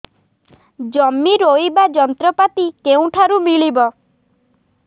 ଜମି ରୋଇବା ଯନ୍ତ୍ରପାତି କେଉଁଠାରୁ ମିଳିବ